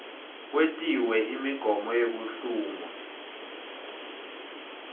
kwetiwe imigomo yekuhlungwa